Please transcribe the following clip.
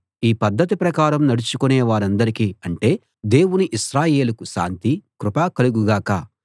ఈ పద్ధతి ప్రకారం నడుచుకునే వారందరికీ అంటే దేవుని ఇశ్రాయేలుకు శాంతి కృప కలుగు గాక